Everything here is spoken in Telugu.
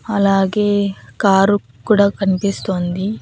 అలాగే కారు కూడా కనిపిస్తోంది.